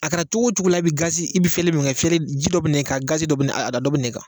A kɛra cogo cogo la a be gazi dɔ be na e be fiyɛli fere ji dɔ be n'e kan a gazi dɔ be ne a dɔ be n'e kan